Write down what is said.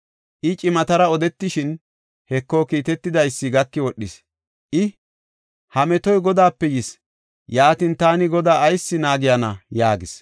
I cimatara odetishin, Heko, kiitetidaysi gaki wodhis; I, “Ha metoy Godaape yis. Yaatin, taani Godaa ayis naagiyana?” yaagis.